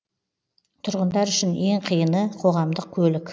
тұрғындар үшін ең қиыны қоғамдық көлік